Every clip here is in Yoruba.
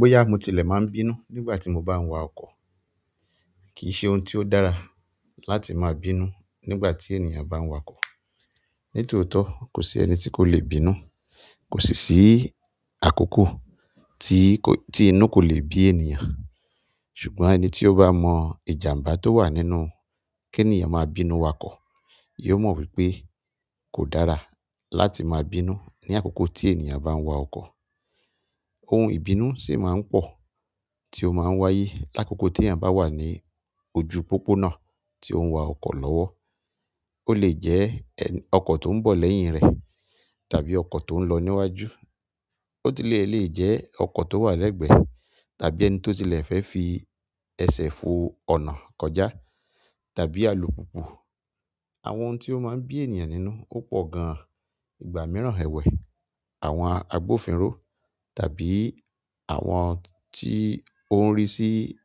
Bóyà mo tilẹ̀ máa ń bínú nígbà tí mo bá ń wa ọkọ̀. Kì í ṣe ohun tí ó dára láti máa bínú nígbà tí ènìyàn bá ń wa ọkọ̀. Nítotó kò sí ẹni tí kò le bínú, kò sì sí àkókò tí kò, tí inú kò le bí ènìyàn. Ṣùgbọ́n ẹni tí ó bá mọ ìjàmbá tó wà nínú kí ènìyàn máa bínú wakọ̀, yóò mọ wípé kò dára láti máa bínú ní àkókò tí ènìyàn bá ń wa ọkọ̀. Ohun ìbínú ṣì máa ń pọ̀ tí ó máa ń wáyé l'àkókò tí ẹ̀yàn bá wà ní ojú pópónà tí ó ń wa ọkọ̀ lọ́wọ́. Ó lè jẹ́ ẹ́n, ọkọ̀ tó ń bọ̀ lẹ́yìn rẹ tàbí ọkọ̀ tó ń lọ níwájú. Boti le leje oko to wa legbe tàbí ẹni to tile fe fi ese fo ọ̀nà kọjá tàbí alùpùpù. Àwọn ohun tí ó máa ń bí ènìyàn nínú ó pọ̀ gan-an. Ìgbà mìíràn ẹwẹ, àwọn agbófinró tàbí àwọn tí ó ń rì sí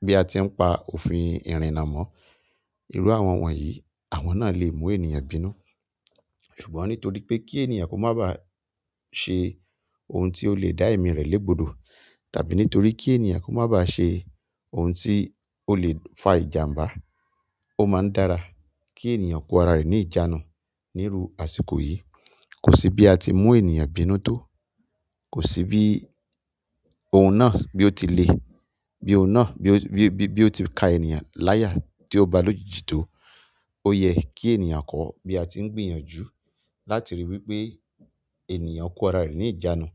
bí a ti ń pa òfin ìrìnnà mọ. Irú àwọn wọ̀nyí, àwọn náà lè mú ènìyàn bínú. Ṣùgbọ́n nítorí pe ki ènìyàn ko maa be se oun ti o le da emi re le gbọdọ tàbí nítorí ki ènìyàn ma ba se. Ohun tí ó lè fa ìjàmbá, ó máa ń dára kí ènìyàn kó ara rẹ̀ ní ìjánu níru àsìkò yìí. Kò sí bí a ti ń mú ènìyàn bínú tó, kò sí bí ohun náà bí ó tilẹ̀, bí ohun náà bí ó, bí ó, bí ó ti ka ènìyàn láyà tí ó bá lòjijì tó. Ó yẹ kí ènìyàn kọ́ bí a ti ń gbìyànjú láti ríi wípé ènìyàn kó ara rẹ̀ ní ìjánu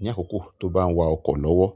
ní àkókò tó bá ń wa ọkọ̀ lọ́wọ́.